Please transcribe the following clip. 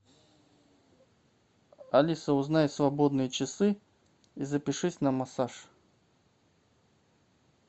алиса узнай свободные часы и запишись на массаж